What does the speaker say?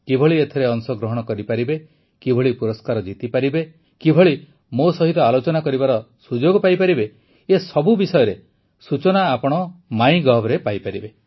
କିଭଳି ଏଥିରେ ଅଂଶଗ୍ରହଣ କରିପାରିବେ କିଭଳି ପୁରସ୍କାର ଜିତିପାରିବେ କିଭଳି ମୋ ସହିତ ଆଲୋଚନା କରିବାର ସୁଯୋଗ ପାଇପାରିବେ ଏସବୁ ବିଷୟରେ ସୂଚନା ଆପଣ ମାଇଁଗଭ୍ରେ ପାଇପାରିବେ